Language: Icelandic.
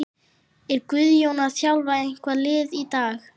Er Guðjón að þjálfa eitthvað lið í dag?